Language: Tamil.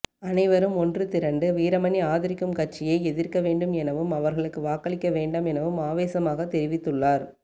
அனைவரும் ஒன்று திரண்டு வீரமணி ஆதரிக்கும் கட்சியை எதிர்க்க வேண்டும் எனவும் அவர்களுக்கு வாக்களிக்க வேண்டாம் எனவும் ஆவேசமாக தெரிவித்துள்ளார்